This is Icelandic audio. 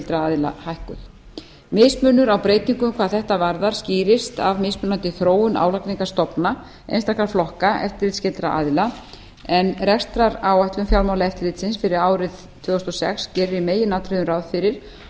aðila hækkuð mismunur á breytingum hvað þetta varðar skýrist af mismunandi þróun álagningarstofna einstakra flokka eftirlitsskyldra aðila en rekstraráætlun fjármálaeftirlitsins fyrir árið tvö þúsund og sex gerir í meginatriðum ráð fyrir